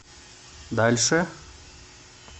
дальше